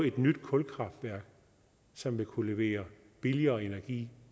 et nyt kulkraftværk som vil kunne levere billigere energi